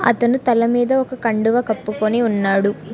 అతను తల మీద ఒక కండువ కప్పుకొని ఉన్నాడు.